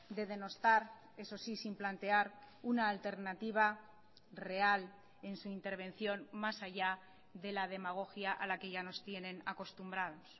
de denostar eso sí sin plantear una alternativa real en su intervención más allá de la demagogia a la que ya nos tienen acostumbrados